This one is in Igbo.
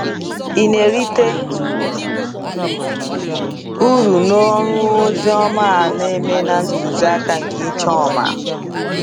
Ị na-erite uru n’ọrụ ozi ọma a na-eme na ntụzi aka nke Ijoma?